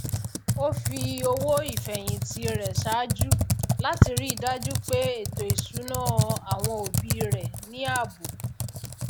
ó fi owó ìfèhìntì rè sàájú láti ríi dájú pé ètò ìsúná àwọn òbí rè ní ààbò